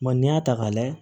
Ma n'i y'a ta k'a layɛ